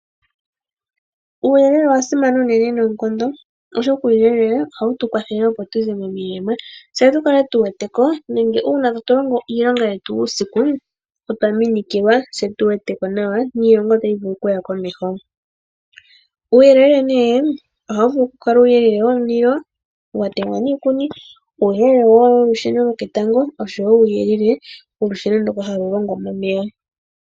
Uuyelele owa simana unene noonkondo, oshoka uuyelele ohawu tu kwathele opo tu ze momilema, tse tu kale tu wete ko, nenge uuna tatu longo iilonga yetu uusiku, otwa minikilwa, tse tu wete ko nawa niilonga otayi vulu okuya komeho. Uuyelele ohawu vulu okukala uuyelele womulilo wa temwa niikuni, uuyelele wolusheno lwoketango, osho wo uuyelele wolusheno ndyoka halu longwa momeya.